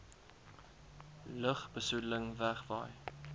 lugbe soedeling wegwaai